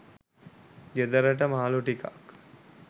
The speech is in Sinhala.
ගෙදරට මාළු ටිකක්